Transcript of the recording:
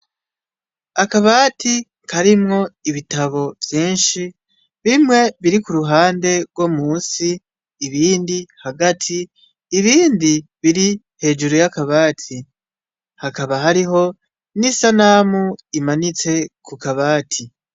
Akabati karimwo ibitabu vyinshi. Bimwe biri ku ruhande rwo munsi, bindi hagati, ibindi biri hejuru y'akabati. Hakaba hariho n'isanamu imanitse ku kabati.